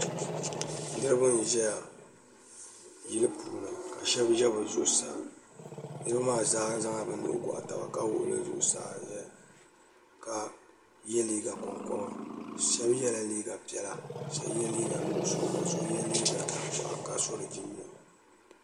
niraba n ʒɛya yili puuni ka shab ʒɛ bi zuɣusaa niraba maa zaa zaŋla bi nuhi goɣa taba ka wuɣi bi nuhi zuɣusaa ʒɛya ka yɛ liiga konkoba shab yɛla liiga piɛla ka so yɛ liiga nuɣso ka so yɛ liiga tankpaɣu ka so di jinjɛm